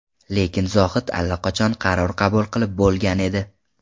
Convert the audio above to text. Lekin Zohid allaqachon qaror qabul qilib bo‘lgan edi.